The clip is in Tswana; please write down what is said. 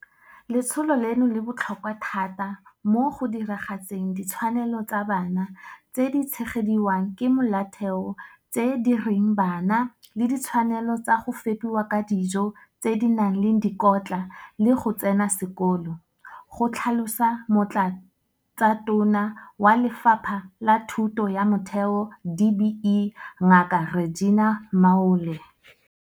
Letsholo leno le botlhokwa thata mo go diragatseng ditshwanelo tsa bana tse di tshegediwang ke Molaotheo tse di reng ba na le ditshwanelo tsa go fepiwa ka dijo tse di nang le dikotla le go tsena sekolo, go tlhalosa Motlatsatona wa Lefapha la Thuto ya Motheo, DBE, Ngaka Reginah Mhaule.